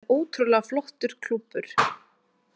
Þetta er ótrúlega flottur klúbbur.